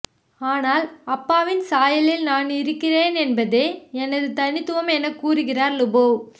ஆனால் அப்பாவின் சாயலில் நானிருக்கிறேன் என்பதே எனது தனித்துவம் எனக் கூறுகிறார் லூபோவ்